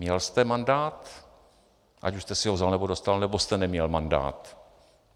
Měl jste mandát, ať už jste si ho vzal, nebo dostal, nebo jste neměl mandát?